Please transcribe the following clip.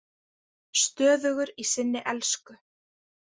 Stöðugur í sinni elsku.